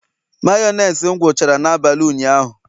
Mayonezi m gwuchara n'abalị ụnyaahụ